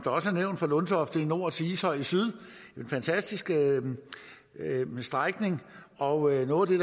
nævnt fra lundtofte i nord til ishøj i syd en fantastisk strækning og noget af